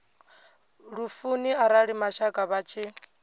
lufuni arali mashaka vha tshi